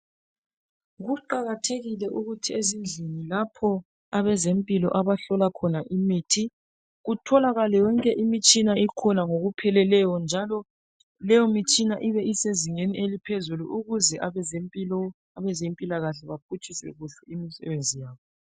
Kuqakathekile ukuthi ezindlini lapho abezempilo abahlola khona imithi kutholakale yonke imitshina ikhona ngokupheleleyo njalo leyomitshina ibe isezingeni eliphezulu ukuze abezempilo, abezempilakahle baphutshise kuhle imisebenzi yabo.